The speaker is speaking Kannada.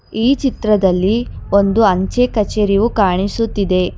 ಈ ಚಿತ್ರದಲ್ಲಿ ಒಂದು ಅಂಚೆ ಕಚೇರಿಯು ಕಾಣಿಸುತ್ತಿದೆ.